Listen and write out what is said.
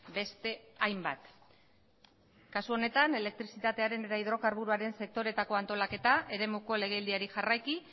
beste hainbat kasu honetan elektrizitatearen eta hidrokarburoaren sektoreetako antolaketa eremuko legeldiari jarraiki